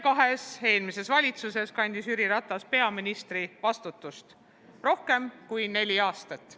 Kahes eelmises valitsuses kandis Jüri Ratas peaministri vastutust rohkem kui neli aastat.